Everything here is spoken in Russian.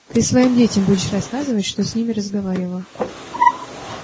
ты своим детям будешь рассказывать что с ним разговаривал